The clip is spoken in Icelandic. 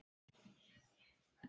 Ég skil það vel.